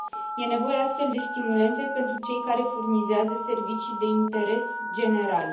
Este nevoie, astfel, de stimulente pentru cei care furnizează servicii de interes general.